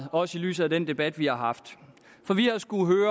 også i lyset af den debat vi har haft for vi